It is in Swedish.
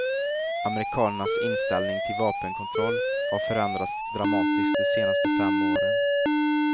Amerikanernas inställning till vapenkontroll har förändrats dramatiskt de senaste fem åren.